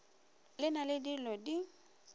le na le dilo di